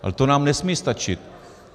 Ale to nám nesmí stačit.